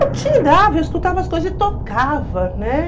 Eu tirava, eu escutava as coisas e tocava, né?